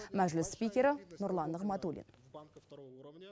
мәжіліс спикері нұрлан нығматулин